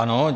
Ano.